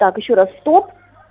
так ещё раз стоп